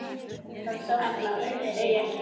Allavega segi ég ekkert með orðum.